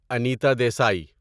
انیتا دیسی